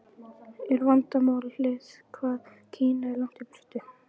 Er vandamálið hvað Kína er langt í burtu?